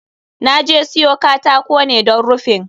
Na je siyo katako ne don rufin.